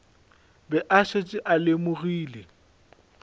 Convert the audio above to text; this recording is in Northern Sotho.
be a šetše a lemogile